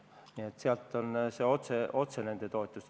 Nii et see toetus on otse neile suunatud.